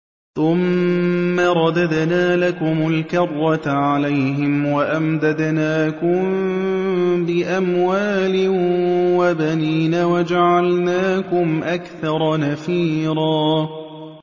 ثُمَّ رَدَدْنَا لَكُمُ الْكَرَّةَ عَلَيْهِمْ وَأَمْدَدْنَاكُم بِأَمْوَالٍ وَبَنِينَ وَجَعَلْنَاكُمْ أَكْثَرَ نَفِيرًا